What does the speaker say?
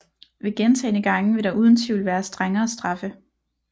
Ved gentagne gange vil der uden tvivl være strengere straffe